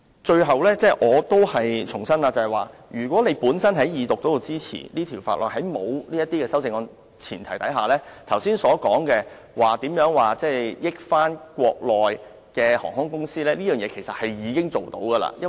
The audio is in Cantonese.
最後，我重申若在《條例草案》二讀時予以支持，在沒有這些修正案的情況下，剛才所說對國內航空公司有利的安排，其實已經可以做到。